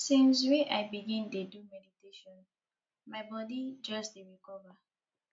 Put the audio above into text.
since wey i begin dey do meditation my bodi just dey recover